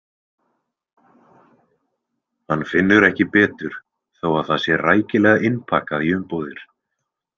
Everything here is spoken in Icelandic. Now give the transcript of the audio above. Hann finnur ekki betur þó að það sé rækilega innpakkað í umbúðir.